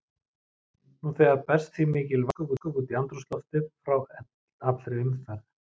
Nú þegar berst því mikil vatnsgufa út í andrúmsloftið frá allri umferð.